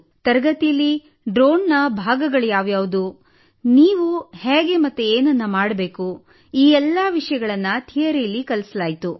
ತರಗತಿಯಲ್ಲಿ ಡ್ರೋನ್ನ ಭಾಗಗಳು ಯಾವುವು ನೀವು ಹೇಗೆ ಮತ್ತು ಏನೇನು ಮಾಡಬೇಕು ಈ ಎಲ್ಲಾ ವಿಷಯಗಳನ್ನು ಥಿಯರಿಯಲ್ಲಿ ಕಲಿಸಲಾಯಿತು